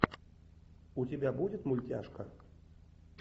у тебя будет мультяшка